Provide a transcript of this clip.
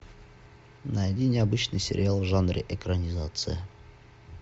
найди необычный сериал в жанре экранизация